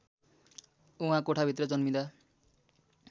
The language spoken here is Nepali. उहाँ कोठाभित्र जन्मिँदा